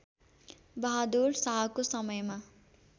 बहादुर शाहको समयमा